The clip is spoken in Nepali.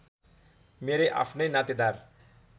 मेरै आफ्नै नातेदार